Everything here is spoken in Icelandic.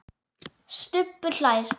Stubbur hlær.